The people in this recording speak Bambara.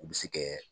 U bɛ se kɛ